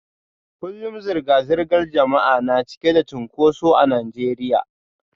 Kullum zirga-zirgar jama'a na cike da cunkoso a Najeriya